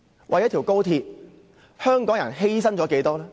為了高鐵，香港人犧牲了多少？